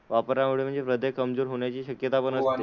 वापरामुळे म्हणजे हृदय कमजोर होण्याची शक्यतापण असते.